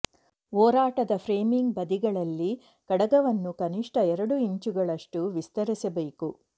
ಒರಟಾದ ಫ್ರೇಮಿಂಗ್ ಬದಿಗಳಲ್ಲಿ ಕಡಗವನ್ನು ಕನಿಷ್ಠ ಎರಡು ಇಂಚುಗಳಷ್ಟು ವಿಸ್ತರಿಸಬೇಕು